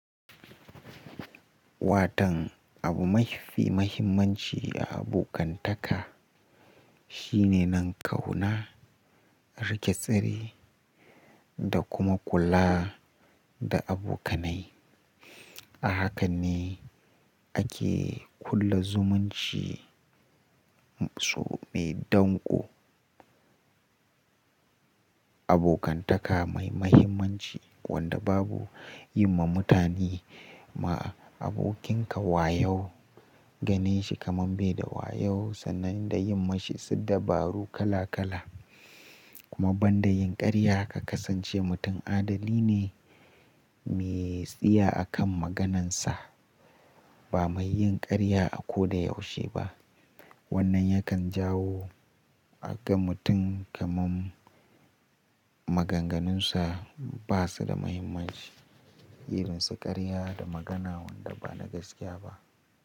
Watan abu mafi mahimmanci a abokantaka shine nan kauna, rike sirri da kuma kula da abokanai. A haka ne ake ƙulla zumunci so mai danko. Abokantaka mai mahimmanci wanda babu yi ma mutane ma abokinka wayo, ganin shi kaman bai da wayo sannan da yi mashi su dabaru kala kala. Kuma banda yin ƙarya ka kasance mutum adalini ne me tsiya akan maganansa ba mai yin karya a ko da yaushe ba. Wannan yakan jawo aka mutum kaman maganganunsa basu da mahimmanci irin su karya da magana wanda bana gaskiya ba.